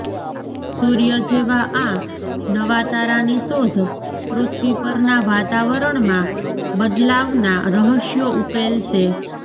સુર્ય જેવા આ નવા તારાની શોધ પૃથ્વી પરના વાતાવરણમાં બદલાવના રહસ્યો ઉકેલશે